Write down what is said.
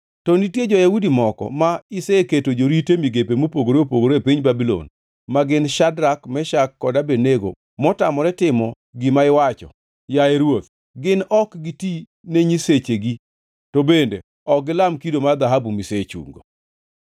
To nitie jo-Yahudi moko ma iseketo jorit e migepe mopogore opogore e piny Babulon ma gin Shadrak, Meshak kod Abednego, motamore timo gima iwacho, yaye ruoth. Gin ok giti ne nyisechegi, to bende ok gilam kido mar dhahabu misechungo.”